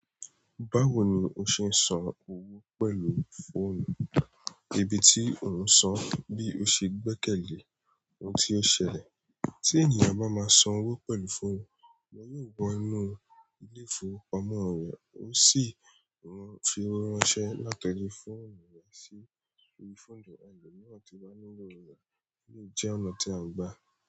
Báwo ni o ṣe ń san owó pẹ̀lú fóònù? Ibi tí òún sàn bí o ṣe gbẹ́kẹ̀lé ohun tí ó ṣẹlẹ̀. Tí ènìyàn bá máa san owó pẹ̀lú fóònù, wọ́n yóò wọ inú ilé ìfowópamọ́ rẹ̀, ó sì ran fi owó ránṣẹ́ látọrí fóònù rẹ̀ sí orí fóònù ẹlòmíràn náà tí o wá nínú rẹ̀. Èleyí jẹ́ ọ̀nà tí a ń gbà.